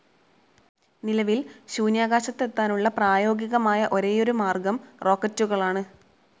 നിലവിൽ ശൂന്യാകാശത്തെത്താനുള്ള പ്രായോഗികമായ ഒരേയൊരു മാർഗ്ഗം റോക്കറ്റുകളാണ്.